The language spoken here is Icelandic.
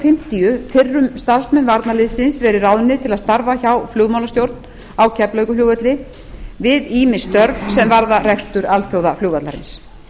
fimmtíu fyrrum starfsmenn varnarliðsins verið ráðnir til að starfa hjá flugmálastjórn á keflavíkurflugvelli við ýmis störf sem varða rekstur alþjóðaflugvallarins